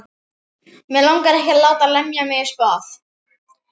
Mig langar ekki að láta lemja mig í spað.